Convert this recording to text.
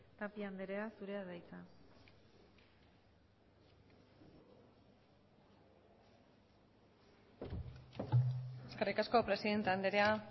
tapia andrea zurea da hitza eskerrik asko presidente andrea